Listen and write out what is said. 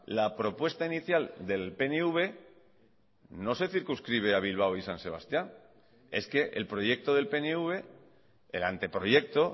la propuesta inicial del pnv no se circunscribe a bilbao y san sebastián es que el proyecto del pnv el anteproyecto